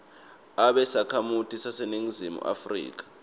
abe sakhamuti saseningizimu